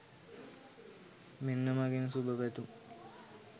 මෙන්න මගෙන් සුභ පැතුම්.